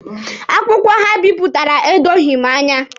Akwụkwọ ha bipụtara edoghị m anya.